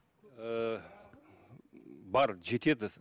ыыы бар жетеді